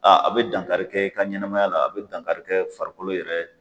a bi dankarikɛ i ka ɲɛnɛmaya la, a bi dankarikɛ farikolo yɛrɛ